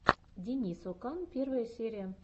денис окан первая серия